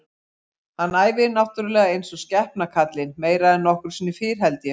Hann æfir náttúrulega eins og skepna kallinn, meira en nokkru sinni fyrr held ég.